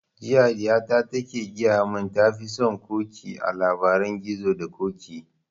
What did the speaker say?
Jiya ɗiya ta ke gaya mun ta fi son ƙoƙi a labarin gizo da ƙoƙi